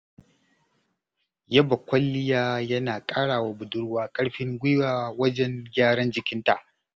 Yaba kwalliya yana ƙarawa budurwa ƙarfin guiwa wajen gyara jikinta.